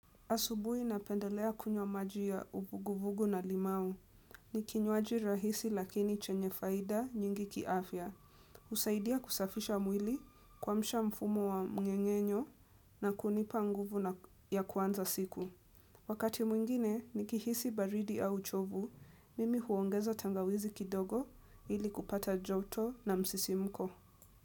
Asubuhi napendelea kunywa maji ya uvuguvugu na limau. Ni kinywaji rahisi lakini chenye faida nyingi kiafya. Husaidia kusafisha mwili kuamsha mfumo wa mngengenyo na kunipa nguvu na ya kuanza siku. Wakati mwingine nikihisi baridi au uchovu, mimi huongeza tangawizi kidogo ili kupata joto na msisimuko.